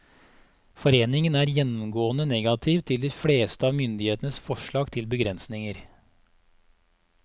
Foreningen er gjennomgående negativ til de fleste av myndighetenes forslag til begrensninger.